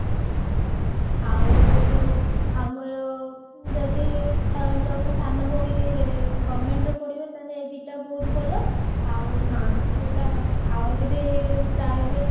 ଆଉ ଯୋଉ ଆମର ଯଦି ତମ ସାନ ଭଉଣୀ government ରେ ପଢିବ ତାହେଲେ ଏଇ ଦିଟା ବହୁତ ଭଲ ଆଉ କୋଉଟା ଆଉ ଯଦି private